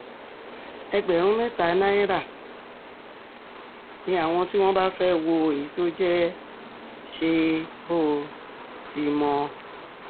ẹgbẹ̀rún mẹ́ta náírà ni àwọn tí wọ́n bá fẹ́ẹ́ wo èyí tó jẹ́ ṣe-bó-ò-ti-mọ